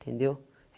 Entendeu?